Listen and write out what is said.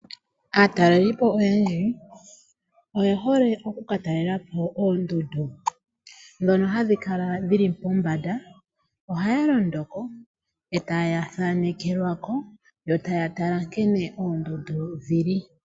Aatalelipo oyendji oyehole okukatalelapo oondundu, ndhono hadhi kala dhili pombanda. Ohaya londo ko, e taya thaanekelwako, e taya tala nkene oondundu dhili.